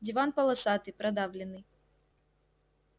диван полосатый продавленный